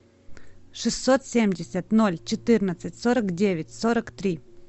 шестьсот семьдесят ноль четырнадцать сорок девять сорок три